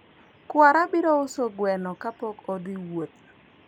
kwara biro uso gweno kapok odhi wuoth